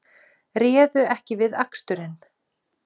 Réðu ekki við aksturinn